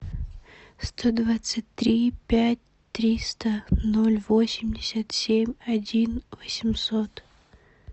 сто двадцать три пять триста ноль восемьдесят семь один восемьсот